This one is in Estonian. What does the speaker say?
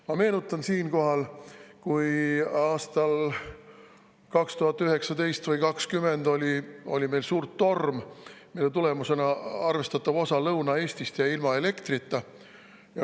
Ma meenutan siinkohal, et aastal 2019 või 2020 oli meil suur torm, mille tõttu arvestatav osa Lõuna-Eestist jäi ilma elektrita.